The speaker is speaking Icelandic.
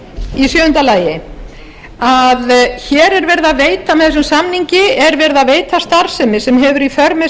nauðsynlegt í sjöunda lagi að hér er verið að veita með þessum samningi starfsemi sem hefur í för með